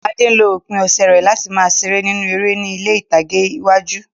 Ade lo òpin ọ̀sẹ̀ rẹ̀ láti máa ṣeré nínú eré ní ilé ìtàgé àwùjọ.